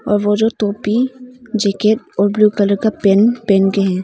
और वो जो टोपी जैकेट और ब्ल्यू कलर का पेंट पहन के है।